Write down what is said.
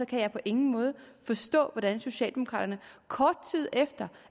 kan jeg på ingen måde forstå hvordan socialdemokraterne kort tid efter